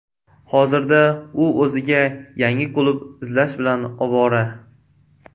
Hozirda u o‘ziga yangi klub izlash bilan ovora.